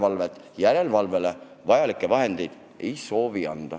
Aga järelevalveks vajalikke vahendeid me anda ei soovi.